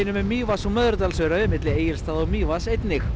um Mývatns og Möðrudalsöræfi milli Egilsstaða og Mývatns einnig